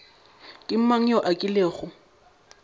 ke mang yo a kilego